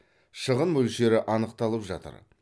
шығын мөлшері анықталып жатыр